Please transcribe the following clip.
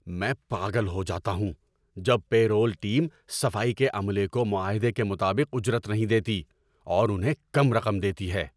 میں پاگل ہو جاتا ہوں جب پے رول ٹیم صفائی کے عملے کو معاہدے کے مطابق اجرت نہیں دیتی اور انہیں کم رقم دیتی ہے۔